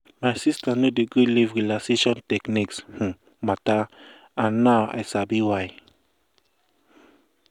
my sister no dey gree leave relaxation techniques um matter and now i sabi why.